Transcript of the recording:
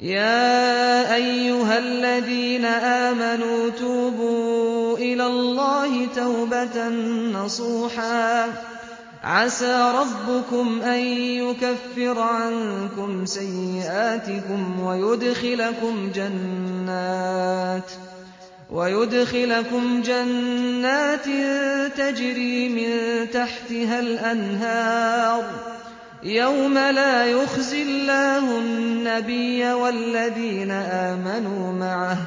يَا أَيُّهَا الَّذِينَ آمَنُوا تُوبُوا إِلَى اللَّهِ تَوْبَةً نَّصُوحًا عَسَىٰ رَبُّكُمْ أَن يُكَفِّرَ عَنكُمْ سَيِّئَاتِكُمْ وَيُدْخِلَكُمْ جَنَّاتٍ تَجْرِي مِن تَحْتِهَا الْأَنْهَارُ يَوْمَ لَا يُخْزِي اللَّهُ النَّبِيَّ وَالَّذِينَ آمَنُوا مَعَهُ ۖ